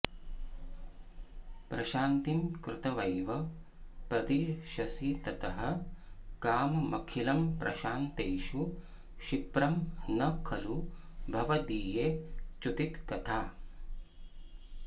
प्रशान्तिं कृत्वैव प्रदिशसि ततः काममखिलं प्रशान्तेषु क्षिप्रं न खलु भवदीये च्युतिकथा